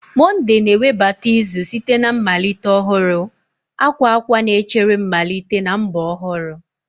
Monde na-ewebata izu site na mmalite ọhụrụ, akwa akwa na-echere mmalite na mbọ ọhụrụ